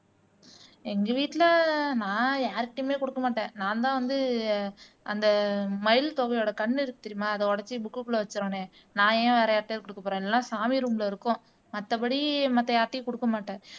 எங்க வீட்டுல நான் யார்கிட்டையுமே கொடுக்க மாட்டேன் நான்தான் வந்து அந்த மயில் தொகையோட கண்ணு இருக்கு தெரியுமா அதை உடைச்சு புக்குள்ள வச்சிரணும் நான் ஏன் வேற யார்ட்டையோ கொடுக்கப் போறேன் இல்லைன்னா சாமி ரூம்ல இருக்கும் மத்தபடி மத்த யார்கிட்டயும் கொடுக்க மாட்டேன்